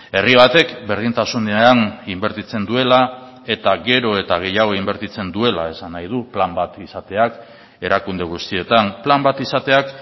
herri batek berdintasunean inbertitzen duela eta gero eta gehiago inbertitzen duela esan nahi du plan bat izateak erakunde guztietan plan bat izateak